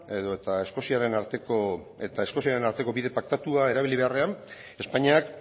eta eskoziaren arteko bide paktatua erabili beharrean espainiak